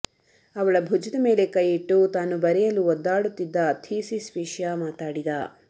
ಅವಳ ಭುಜದ ಮೇಲೆ ಕೈಯಿಟ್ಟು ತಾನು ಬರೆಯಲು ಒದ್ದಾಡುತ್ತಿದ್ದ ಥೀಸಿಸ್ ವಿಷಯ ಮಾತಾಡಿದ